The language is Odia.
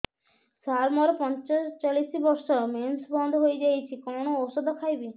ସାର ମୋର ପଞ୍ଚଚାଳିଶି ବର୍ଷ ମେନ୍ସେସ ବନ୍ଦ ହେଇଯାଇଛି କଣ ଓଷଦ ଖାଇବି